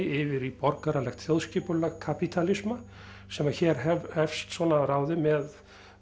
yfir í borgaralegt þjóðskipulag kapítalisma sem að hér hefst svona að ráði með